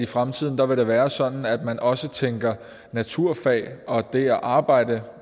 fremtiden vil være sådan at man også tænker naturfag og det at arbejde